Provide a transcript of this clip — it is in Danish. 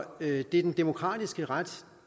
det er den demokratiske ret